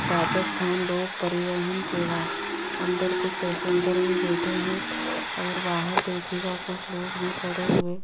राजस्थान लोग परिवहन सेवा अंदर कुछ पैसेंजर भी बैठे हैं और बाहर देखिएगा कुछ लोग भी खड़े हुए--